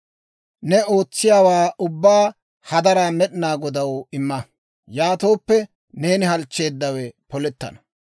Ne ootsiyaawaa ubbaa hadaraa Med'inaa Godaw imma; yaatooppe, neeni halchcheeddawe polettana.